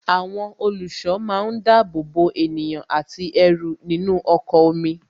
Àwọn olùṣọ́ máa ń dábòbò ènìyàn àti ẹrù nínú ọkọ̀ omi